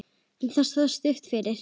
En það stóð stutt yfir.